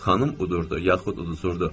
Xanım udurdu, yaxud uduzurdu.